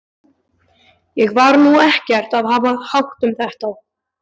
Ég var nú ekkert að hafa hátt um þetta.